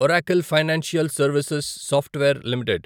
Oracle financial services software limited